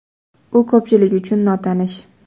U ko‘pchilik uchun notanish.